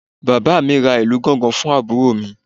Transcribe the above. Bàbá mi ra ìlù gángan fún àbúrò mi